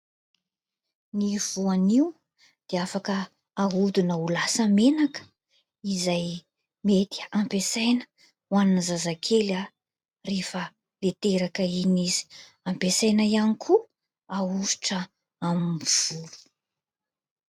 Ny voanio dia afaka ahodina ho lasa menaka; izay mety hampiasaina ho an'ny zazakely rehefa Ilay teraka iny izy; hampiasaina ihany koa ahosotra amin'ny volo.